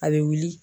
A bɛ wuli